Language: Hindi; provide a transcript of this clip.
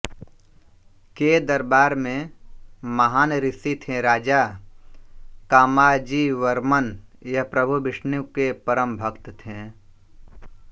के दरबार में महान ऋषी थें राजा कामाजीवर्मन यह प्रभु विष्णु के परम भक्त थें